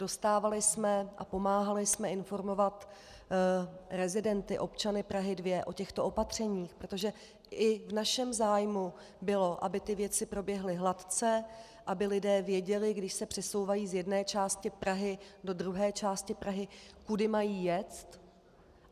Dostávali jsme a pomáhali jsme informovat rezidenty, občany Prahy 2, o těchto opatřeních, protože i v našem zájmu bylo, aby ty věci proběhly hladce, aby lidé věděli, když se přesouvají z jedné části Prahy do druhé části Prahy, kudy mají jet.